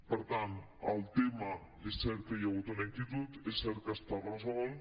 per tant el tema és cert que hi ha hagut una inquietud és cert que està resolt